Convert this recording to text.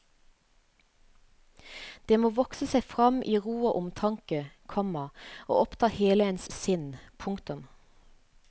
Det må vokse seg frem i ro og omtanke, komma og oppta hele ens sinn. punktum